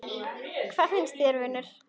Hvað finnst þér, vinur?